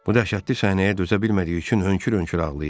Bu dəhşətli səhnəyə dözə bilmədiyi üçün hönkür-hönkür ağlayırdı.